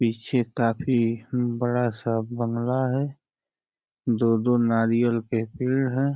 पीछे काफी बड़ा-सा बंगला है। दो दो नारियाल के पेड़ हैं।